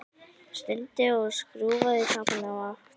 Stundi og skrúfaði tappann á aftur.